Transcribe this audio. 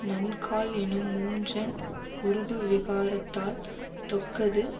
நன்கால் என்னும் மூன்றன் உருபு விகாரத்தால் தொக்கது